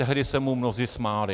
Tehdy se mu mnozí smáli.